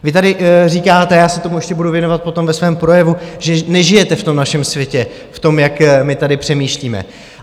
Vy tady říkáte, já se tomu ještě budu věnovat potom ve svém projevu, že nežijete v tom našem světě, v tom, jak my tady přemýšlíme.